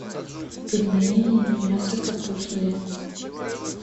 пельмени мясо капустные